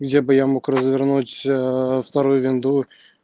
где бы я мог развернуть вторую винду